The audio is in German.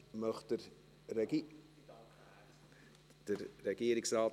Möchte der Regierungsrat das Wort?